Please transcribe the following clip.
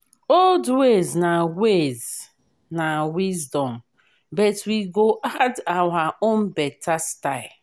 old ways na ways na wisdom but we go add our own beta style.